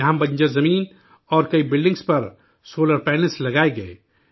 یہاں بنجر زمین اور کئی بلڈنگوں پر سولر پینلز لگائے گئے